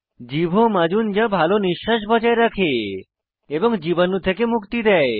জীভ ও মাজুন যা ভাল নিশ্বাস বজায় রাখে এবং জীবাণু থেকে মুক্তি দেয়